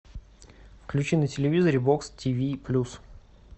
включи на телевизоре бокс тв плюс